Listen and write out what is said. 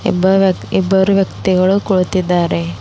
ಒಬ್ಬ ವ್ಯ ಇಬ್ಬರು ವ್ಯಕ್ತಿಗಳು ಕುಳಿತಿದ್ದಾರೆ.